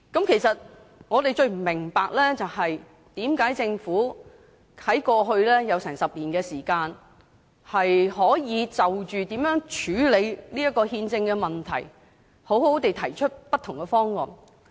其實，我們最不明白的是，政府在過去其實有近10年時間可以好好地就如何處理這項憲政問題提出不同的方案。